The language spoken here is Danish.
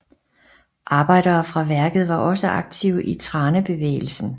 Arbejdere fra værket var også aktive i Thranebevegelsen